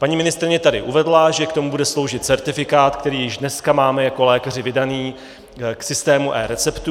Paní ministryně tady uvedla, že k tomu bude sloužit certifikát, který již dneska máme jako lékaři vydaný k systému eReceptů.